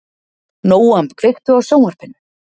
Nóam, kveiktu á sjónvarpinu.